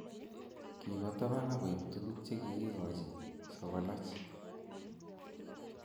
kiba taban akoib tukuk chekikikochi sokolach